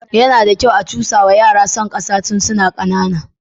Yana da kyau a cusawa yara son ƙasa tun suna ƙanana.